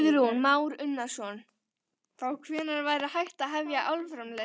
Kristján Már Unnarsson: Þá hvenær væri hægt að hefja álframleiðslu?